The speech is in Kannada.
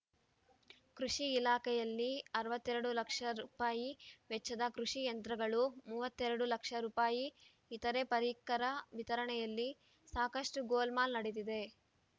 ಕೃಷಿ ಇಲಾಖೆಯಲ್ಲಿ ಅರವತ್ತ್ ಎರಡು ಲಕ್ಷ ರುವೆಚ್ಚದ ಕೃಷಿ ಯಂತ್ರಗಳು ಮೂವತ್ತೆರಡು ಲಕ್ಷ ರು ಇತರೆ ಪರಿಕರ ವಿತರಣೆಯಲ್ಲಿ ಸಾಕಷ್ಟುಗೋಲ್‌ಮಾಲ್‌ ನಡೆದಿದೆ